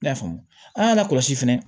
I y'a faamu an k'an lakɔlɔsi fɛnɛ